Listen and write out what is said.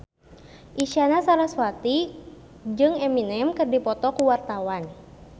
Isyana Sarasvati jeung Eminem keur dipoto ku wartawan